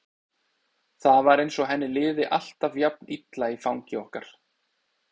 Það var eins og henni liði alltaf jafn illa í fangi okkar.